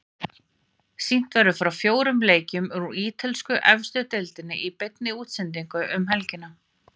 Sýnt verður frá fjórum leikjum úr ítölsku efstu deildinni í beinni útsendingu um helgina.